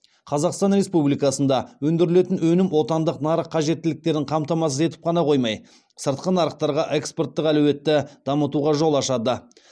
қазақстан республикасында өндірілетін өнім отандық нарық қажеттіліктерін қамтамасыз етіп қана қоймай сыртқы нарықтарға экспорттық әлеуетті дамытуға жол ашады